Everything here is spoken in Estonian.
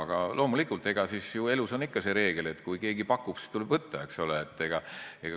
Aga loomulikult, elus on ikka see reegel, et kui keegi pakub, siis tuleb võtta.